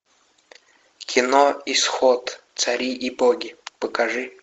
кино исход цари и боги покажи